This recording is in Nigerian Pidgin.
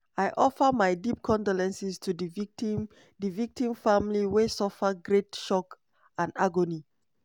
"i offer my deep condolences to di victim di victim family wey suffer great shock and agony."